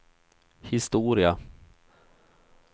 historia